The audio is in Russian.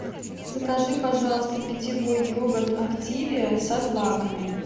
закажи пожалуйста питьевой йогурт активиа со злаками